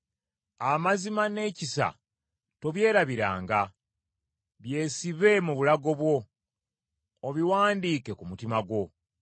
Amazima n’ekisa tobyerabiranga; byesibe mu bulago bwo, obiwandiike ku mutima gwo.